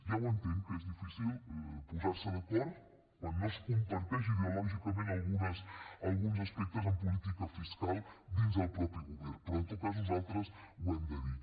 ja ho entenc que és difícil posar se d’acord quan no es comparteixen ideològicament alguns aspectes en política fiscal dins del mateix govern però en tot cas nosaltres ho hem de dir